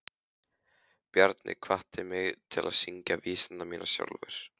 Bjarni hvatti mig til að syngja vísurnar mínar sjálfur.